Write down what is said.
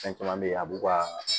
Fɛn caman be yen a b'u ka